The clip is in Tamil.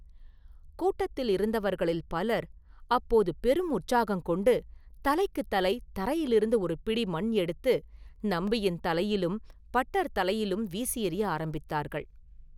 கூட்டத்திலிருந்தவர்களில் பலர் அப்போது பெரும் உற்சாகங்கொண்டு தலைக்குத் தலை தரையிலிருந்து ஒரு பிடி மண் எடுத்து, நம்பியின் தலையிலும் பட்டர் தலையிலும் வீசி எறிய ஆரம்பித்தார்கள்.